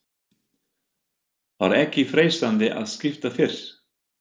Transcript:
Var ekki freistandi að skipta fyrr?